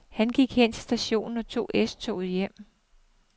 Han gik hen til stationen og tog S-toget hjem.